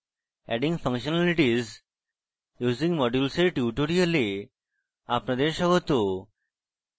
adding functionalities using modules এর tutorial আপনাদের স্বাগত